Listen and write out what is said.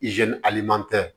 aliman tɛ